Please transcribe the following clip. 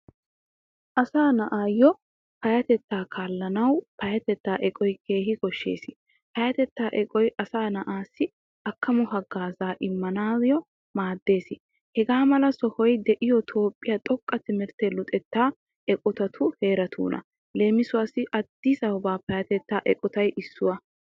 Asaa na'awu payatetta kaalanawu payatetta eqqottay keehin koshshees. Payatettaa eqqottay asaa na'ay akkamo haggazza demmanawu maadees. Hagaamala sohoy de'iyo toophphiya xoqqa timirttiyaa luxetta eqqotatu heeratuna. Leemisuwasi Addisaba payatetta eqqottay issuwaa.